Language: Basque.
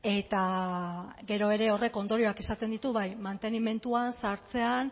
eta gero ere horrek ondorioak izaten ditu bai mantenimenduan zahartzean